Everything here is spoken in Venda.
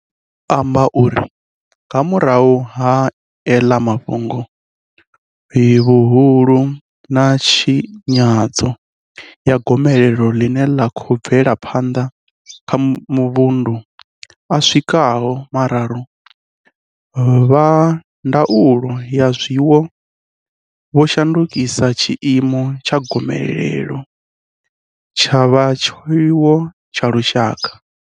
Tau vho amba uri ga murahu ha ela hafhu vhuhulu na tshi nyadzo ya gomelelo ḽine ḽa khou bvela phanḓa kha mavundu a swikaho mararu, vha ndaulo ya zwiwo vho shandukisa tshiimo tsha gomelelo tsha vha tshiwo tsha lushaka.